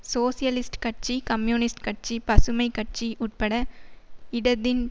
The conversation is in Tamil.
சோசியலிஸ்ட் கட்சி கம்யூனிஸ்ட் கட்சி பசுமை கட்சி உட்பட இடதின்